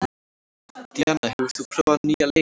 Díanna, hefur þú prófað nýja leikinn?